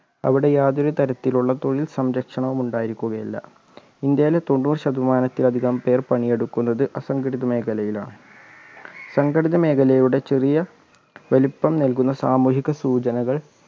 അവിടെ യാതൊരു തരത്തിലുള്ള തൊഴിൽ സംരക്ഷണവും ഉണ്ടായിരിക്കുകയില്ല ഇന്ത്യയിലെ തൊണ്ണൂറ് ശതമാനത്തിലധികം പേർ പണിയെടുക്കുന്നത് അസംഘടിത മേഖലയിലാണ് സംഘടിത മേഖലയുടെ ചെറിയ വലുപ്പം നൽകുന്ന സാമൂഹിക സൂചനകൾ